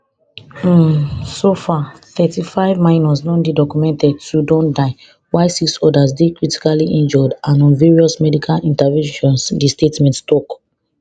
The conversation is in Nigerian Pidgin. um so far thirtyfive minors don dey documented to don die while six odas dey critically injured and on various medical interventions di statement tok